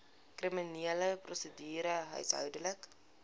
kriminele prosedure huishoudelike